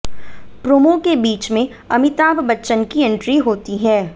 promo के बीच में अमिताभ बच्चन की एंट्री होती है